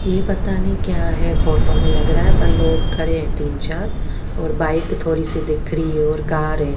ये पता नहीं क्या है फोटो में लग रहा है पर लोग खड़े है तीन चार और बाइक थोड़ी सी दिख रही है और कार है।